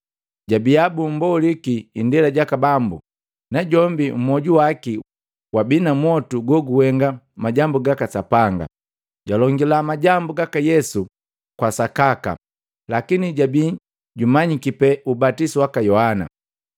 Jabiya bummboliki indela jaka Bambu najombi mwoju waki wabii na mwotu gukuhenga majambu gaka Sapanga, jwalongila majambu gaka Yesu kwa sakaka lakini jabii jumanyiki pe ubatisu waka Yohana.